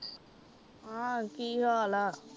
ਹਾ ਕੀ ਹਾਲ ਆ